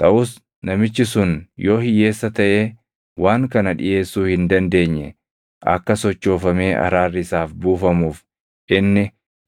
“Taʼus namichi sun yoo hiyyeessa taʼee waan kana dhiʼeessuu hin dandeenye, akka sochoofamee araarri isaaf buufamuuf inni